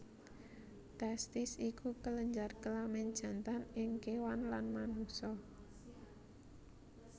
Testis iku kelenjar kelamin jantan ing kéwan lan manungsa